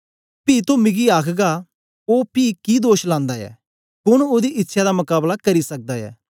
पी तो मिगी आखगा ओ पी कि दोष लांदा ऐ कोन ओदी इच्छया दा मकाबला करी सकदा ऐ